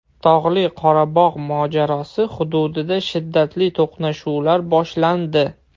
Tog‘li Qorabog‘ mojarosi hududida shiddatli to‘qnashuvlar boshlandi.